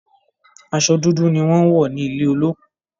Aso dúdú ni wón n wò nílé olókù.